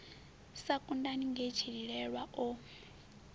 sa kudani nge tshililelwa o